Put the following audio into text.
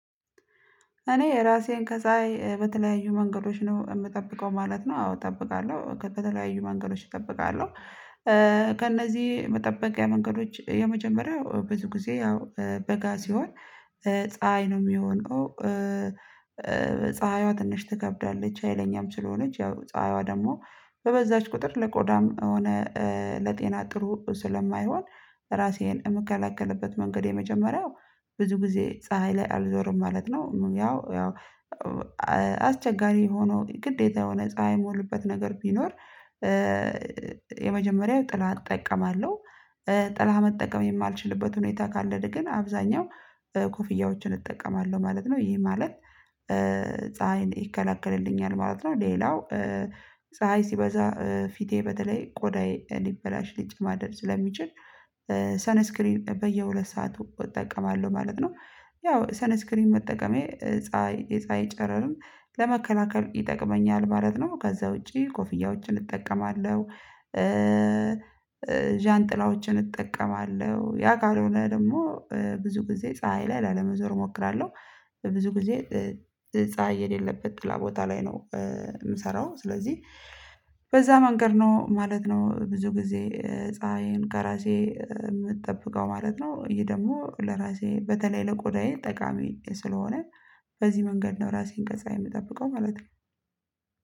እኔ ራሴን ከፀሀይ በተለያዩ መንገዶች ነው የምጠብቀው ማለት ነው አዎ እጠብቃለሁ ከተለያዩ መንገዶች እጠብቃለሁ ከእነዚህ መጠበቂያ መንገዶች የመጀመሪያው ብዙ ጊዜ ያው በጋ ሲሆን ፀሀይ ነው የሚሆነው ፀሀይዋ ትንሽ ትከብዳለች ሀይለኛም ስለሆነች ያው ፀሀይዋ ደግሞ በበዛች ቁጥር ለቆዳም ሆነ ለጤና ጥሩ ስለማይሆን ራሴን የምከለከልበት መንገድ የመጀመሪያው ብዙ ጊዜ ፀሀይ ላይ አልዞርም ማለት ነው ያው ያው አስቸጋሪ ሆኖ ግዴታ የሆነ ፀሀይ የምልበት ነገር ቢኖር የመጀመሪያው ጥላ እጠቀማለሁ ጥላ መጠቀም የማልችልበት ሁኔታ ካለድ ግን አብዛኛው ኮፍያዎችን እጠቀማለሁ ማለት ነው ይሄ ማለት ፀሀይ ይከላከልልኛል ማለት ነው ሌላው ፀሀይ ሲበዛ ፊቴ በተለይ ቆዳዬ ሊበላሽ ሊጨማደድ ስለሚችል ሰነስክሪን በየሁለት ሰዓት እጠቀማለሁ ማለት ነው ያው ሰነስክሪን መጠቀሜ ፀሀይ የፀሀይ ጨረርም ለመከላከል ይጠቅመኛል ማለት ነው ከዛ ውጪ ኮፍያዎችን እጠቀማለሁ፤ ዣንጥላዎችን እጠቀማለሁ ያ ካልሆነ ደግሞ ብዙ ጊዜ ፀሀይ ላይ ላለመዞር እሞክራለሁ ብዙ ጊዜ ፀሀይ የሌለበት ጥላ ቦታ ላይ ነው የምሰራው ስለዚህ በዛ መንገድ ነው ማለት ነው ብዙ ጊዜ ፀሀይን ከራሴ የምጠብቀው ማለት ነው ይሄ ደግሞ ለራሴ በተለይ ለቆዳዬ ጠቃሚ ስለሆነ በዚህ መንገድ ነው ራሴን ከፀሀይ የምጠብቀው ማለት ነው።